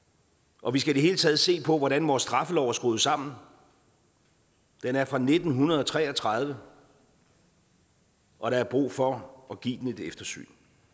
og vi skal i det hele taget se på hvordan vores straffelov er skruet sammen den er fra nitten tre og tredive og der er brug for at give den et eftersyn